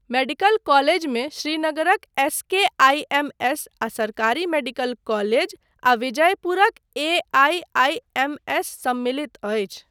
Medical कॉलेजमे श्रीनगरक SKIMS. आ सरकारी मेडिकल कॉलेज आ विजयपुरक ए.आइ.आइ.एम.एस सम्मिलित अछि।